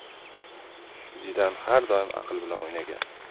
Zidan har doim aql bilan o‘ynagan.